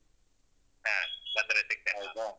ಹ ಬಂದ್ರೆ ಸಿಗ್ತೇನೆ.